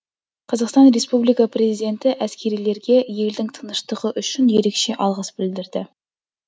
қазақстан республикасы президенті әскерилерге елдің тыныштығы үшін ерекше алғыс білдірді